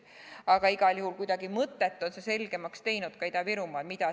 Aga igal juhul kuidagi mõtet, mida siis teha, on see selgemaks teinud ka Ida-Virumaal.